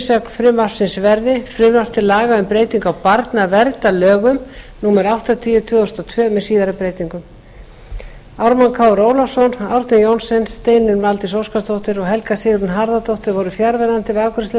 fyrirsögn frumvarpsins verði frumvarp til laga um breytingu á barnaverndarlögum númer áttatíu tvö þúsund og tvö með síðari breytingum ármann krónu ólafsson árni johnsen steinunn valdís óskarsdóttir og helga sigrún harðardóttir voru fjarverandi við afgreiðslu